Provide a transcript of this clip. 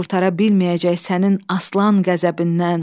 can qurtara bilməyəcək sənin aslan qəzəbindən.